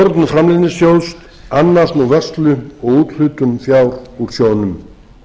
framleiðnisjóðs annast nú vörslu og úthlutun fjár úr sjóðnum